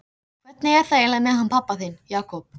Hvernig er það eiginlega með hann pabba þinn, Jakob?